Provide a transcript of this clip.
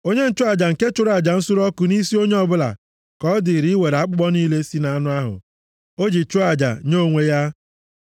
Onye nchụaja nke chụrụ aja nsure ọkụ nʼisi onye ọbụla, ka ọ dịrị iwere akpụkpọ niile si nʼanụ ahụ o ji chụọ aja nye onwe ya.